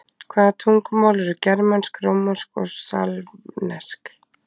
Hvaða tungumál eru germönsk, rómönsk og slavnesk?